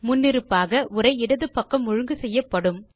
முன்னிருப்பாக உரை இடது பக்கம் ஒழுங்கு செய்யப்படும்